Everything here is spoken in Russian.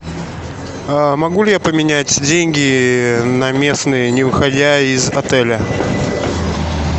могу ли я поменять деньги на местные не выходя из отеля